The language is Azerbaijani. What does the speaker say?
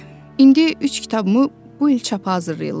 İndi üç kitabımı bu il çapa hazırlayırlar.